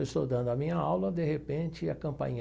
Eu estou dando a minha aula, de repente, a campainha...